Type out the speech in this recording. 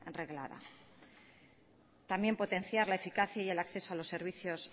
reglada también potenciar la eficacia y el acceso a los servicios